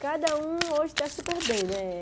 Cada um hoje está super bem, né?